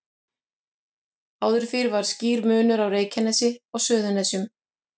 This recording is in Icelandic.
Áður fyrr var skýr munur á Reykjanesi og Suðurnesjum.